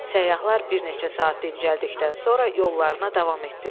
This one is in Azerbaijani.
Səyyahlar bir neçə saat dincəldikdən sonra yollarına davam etdilər.